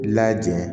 Lajɛn